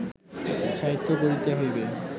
সাহিত্য গড়িতে হইবে